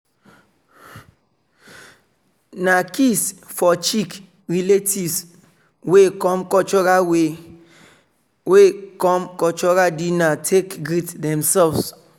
na kiss for cheeck relatives wey come cultural wey come cultural dinner take greet demselves.